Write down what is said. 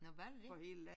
Nåh var det det?